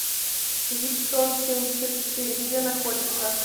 виптонсемьдесятчетыре где находится